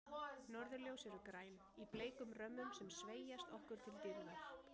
Norðurljós eru græn, í bleikum römmum sem sveigjast okkur til dýrðar.